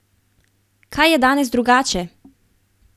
Kaj je danes drugače?